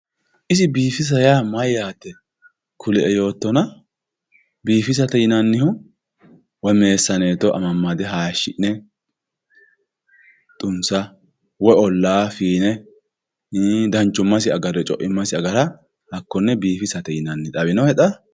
iso biifisa yaa mayyaate kulie yoottona biifisate yinannihu woy meessaneetto amammade hayiishahi'ne xunsa woy ollaa fiine danchummasi agarre woy co'immasi agara hakkonne biifisate yinanni. xawinohe xa?